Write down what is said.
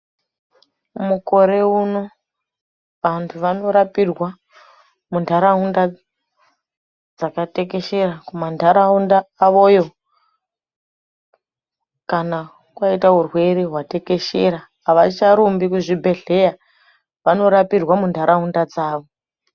Mukore uno vantu vanorapirwa mundaraunda dzakatekeshera mundaraunda avoyo kana aita hurwere hwatekeshera. Havacharumbi kuzvibhedhlera vanorapirwa munharaunda dzavo.